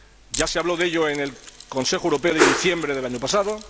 Ya se habló de ello en el Consejo Europeo de diciembre del año pasado.